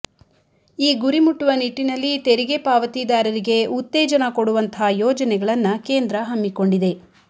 ಈ ಗುರಿ ಮುಟ್ಟುವ ನಿಟ್ಟಿನಲ್ಲಿ ತೆರಿಗೆ ಪಾವತಿದಾರರಿಗೆ ಉತ್ತೇಜನ ಕೊಡುವಂಥ ಯೋಜನೆಗಳನ್ನ ಕೇಂದ್ರ ಹಮ್ಮಿಕೊಂಡಿದೆ